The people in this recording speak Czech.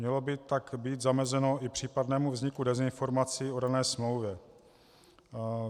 Mělo by tak být zamezeno i případnému vzniku dezinformací o dané smlouvě.